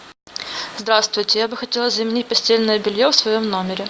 здравствуйте я бы хотела заменить постельное белье в своем номере